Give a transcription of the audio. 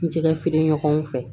N jɛkɛ feere ɲɔgɔnw fɛ